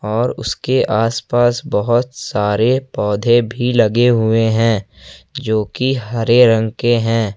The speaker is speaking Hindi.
और उसके आसपास बहोत सारे पौधे भी लगे हुए हैं जो की हरे रंग के हैं।